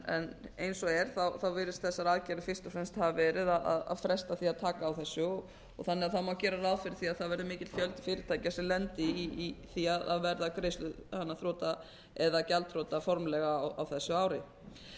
en eins og er virðast þessar aðgerðir fyrst og fremst hafa verið að fresta því að taka á þessu og þannig að það má gera ráð fyrir því að það verði mikill fjöldi fyrirtækja sem lendi í því að verða greiðsluþrota eða gjaldþrota formlega á þessu ári